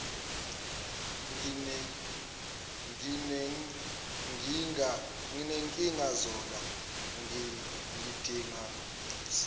nginenkinga zola ngidinga